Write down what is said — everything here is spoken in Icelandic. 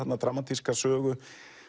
dramatíska sögu